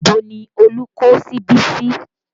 Ibo ni Olú kó síbi sí?